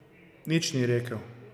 Nič ni rekel.